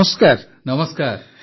ପ୍ରଧାନମନ୍ତ୍ରୀ ନମସ୍କାର